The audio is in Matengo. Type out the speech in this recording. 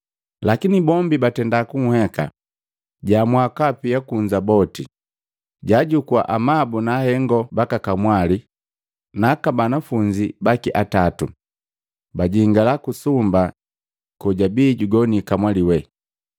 Lakini bombi batenda kun'heka. Jaamua kapia boti kunza, jajukua amabu na ahengo baka kamwali we naaka banafunzi baki atatu, bajingala kusumba kojabii jugoni kamwali we.